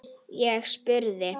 Ég spurði.